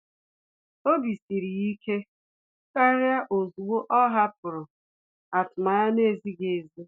Obi siri ya ike kàrị́ ozugbo ọ́ hàpụ̀rụ̀ atụmanya nà-ézíghị́ ézí.